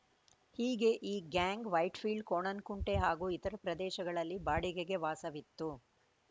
ಹೀಗೆ ಈ ಗ್ಯಾಂಗ್‌ ವೈಟ್‌ಫೀಲ್ಡ್‌ ಕೋಣನಕುಂಟೆ ಹಾಗೂ ಇತರೆ ಪ್ರದೇಶಗಳಲ್ಲಿ ಬಾಡಿಗೆಗೆ ವಾಸವಿತ್ತು